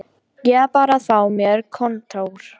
Ég þarf bara að fá mér kontór